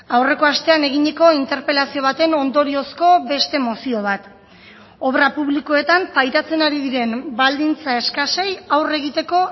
aurreko astean eginiko interpelazio baten ondoriozko beste mozio bat obra publikoetan pairatzen ari diren baldintza eskasei aurre egiteko